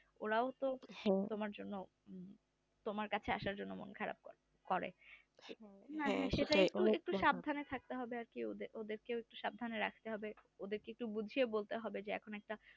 ওরাও তো তোমার কাছে আসার জন্য মন খারাপ করে ওদের কেও একটু সাবধানে রাখতে হবে ওদের কে একটু বুঝিয়ে বলতে হবে